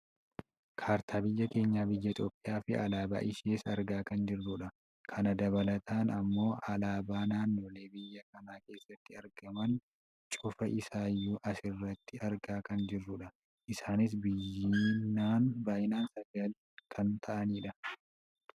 Kaartaa biyya keenya biyya Itoopiyaa fi alaabaa ishees argaa kan jirrudha. Kana dabalataan ammoo alaabaa naannolee biyya kanaa keessatti argaman cufa isaayyuu asirratti argaa kan jirrudha. Isaanis baayyinaan sagal kan ta'anidha.